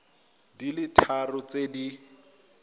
di le tharo tse di